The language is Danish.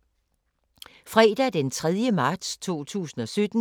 Fredag d. 3. marts 2017